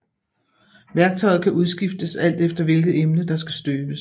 Værktøjet kan udskiftes alt efter hvilket emne der skal støbes